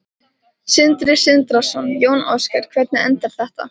Sindri Sindrason: Jón Ásgeir, hvernig endar þetta?